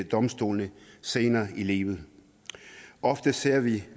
domstolene senere i livet ofte ser vi